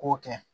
K'o kɛ